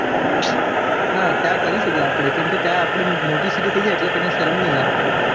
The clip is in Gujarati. ના ત્યાં કરી શકીએ ત્યાં મોટી city થય જાય એટલે શરમ ની આવે